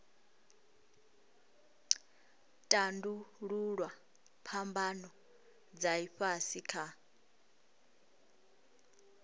tandululwa phambano dza ifhasi kha